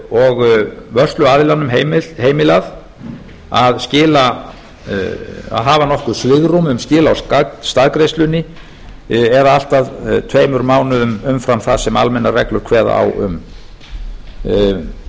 og vörsluaðilanum heimilað að hafa nokkuð svigrúm um skil á staðgreiðslunni eða allt að tveimur mánuðum umfram það sem almennar reglur kveða á um